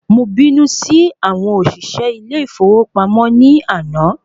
Mo bínú sí àwọn òṣìṣẹ́ ilé ìfowópamọ́ ní àná